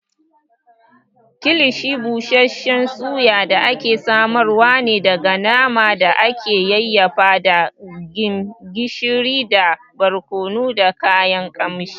Kilishi busasshen Suyan da aka samar ne daga naman da aka yayyafa da gishiri da barkono da kayan ƙamshi.